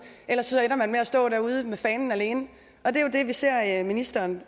ellers ender man med at stå derude med fanen alene og det er jo det vi ser at ministeren